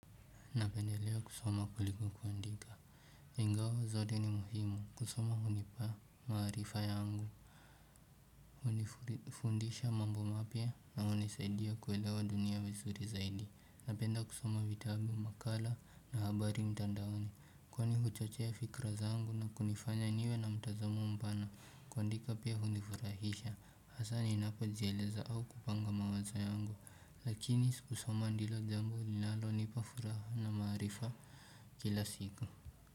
Napendelea kusoma kuliko kuandika. Ingawa zote ni muhimu kusoma hunipa maarifa yangu hunifundisha mambo mapya na hunisaidia kuelewa dunia vizuri zaidi. Napenda kusoma vitabu makala na habari mtandaoni. Kwani huchochea fikra zangu na kunifanya niwe na mtazamo mpana kuandika pia hunifurahisha hasa ninapojieleza au kupanga mawazo yangu Lakini kusoma ndilo jambo linalonipa furaha na maarifa kila siku.